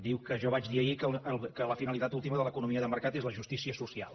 diu que jo vaig dir ahir que la finalitat última de l’economia de mercat és la justícia social